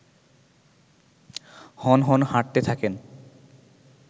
হনহন হাঁটতে থাকেন